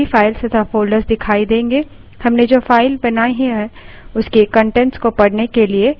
हमने जो file बनाई है उसके कंटेंट्स को पढ़ने के लिए cat command का प्रयोग कर सकते हैं